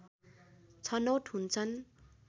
छनौट हुन्छन्